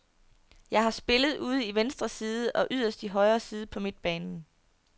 Jeg har spillet ude i venstre side og yderst i højre side på midtbanen.